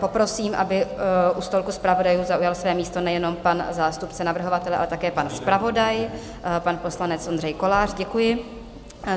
Poprosím, aby u stolku zpravodajů zaujal své místo nejenom pan zástupce navrhovatele, ale také pan zpravodaj, pan poslanec Ondřej Kolář, děkuji.